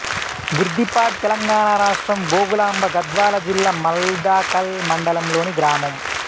బుర్దిపాడ్ తెలంగాణ రాష్ట్రం జోగులాంబ గద్వాల జిల్లా మల్దకల్ మండలంలోని గ్రామం